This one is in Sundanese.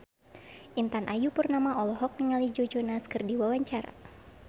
Intan Ayu Purnama olohok ningali Joe Jonas keur diwawancara